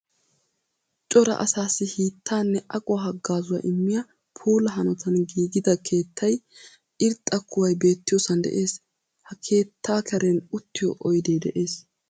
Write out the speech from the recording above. Cora asaassi hiittaanne aquwa haggaazuwa immiya puula hanotan giigida keettay irxxa kuway beettiyosan de'es. Ha keettaa karen uttiyo oydee de'es.